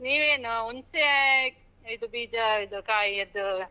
ನೀವು ಏನು ಹುಣ್ಸೇ, ಇದು ಬೀಜ ಇದು ಕಾಯಿಯದ್ದು.